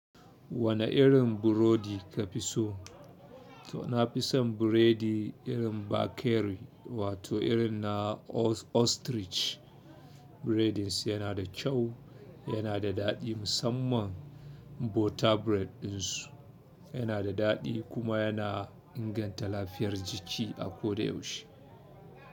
Wane irin burodi ka fi so? To na fi son biredi irin bakery wato irin na Ostrich breading su yana da kyau, yana da daɗi musamman butter bread ɗin su yana da daɗi kuma yana inganta lafiyar jiki a koda yaushe.